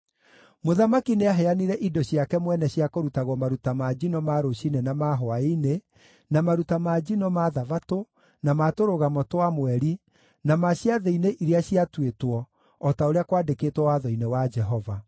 Mũthamaki nĩaheanire indo ciake mwene cia kũrutagwo maruta ma njino ma rũciinĩ na ma hwaĩ-inĩ, na maruta ma njino ma Thabatũ, na ma Tũrũgamo twa Mweri, na ma ciathĩ-inĩ iria ciatuĩtwo, o ta ũrĩa kwaandĩkĩtwo Watho-inĩ wa Jehova.